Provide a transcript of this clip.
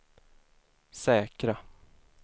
säkra